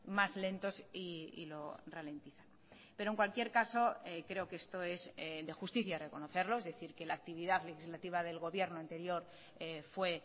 más lentos y lo ralentiza pero en cualquier caso creo que esto es de justicia reconocerlo es decir que la actividad legislativa del gobierno anterior fue